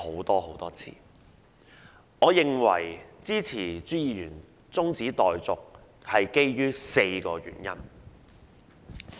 我基於4個原因支持朱議員的中止待續議案。